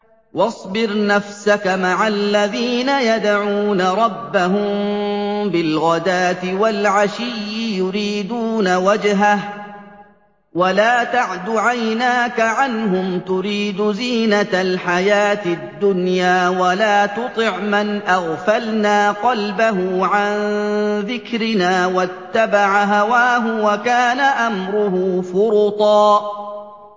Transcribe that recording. وَاصْبِرْ نَفْسَكَ مَعَ الَّذِينَ يَدْعُونَ رَبَّهُم بِالْغَدَاةِ وَالْعَشِيِّ يُرِيدُونَ وَجْهَهُ ۖ وَلَا تَعْدُ عَيْنَاكَ عَنْهُمْ تُرِيدُ زِينَةَ الْحَيَاةِ الدُّنْيَا ۖ وَلَا تُطِعْ مَنْ أَغْفَلْنَا قَلْبَهُ عَن ذِكْرِنَا وَاتَّبَعَ هَوَاهُ وَكَانَ أَمْرُهُ فُرُطًا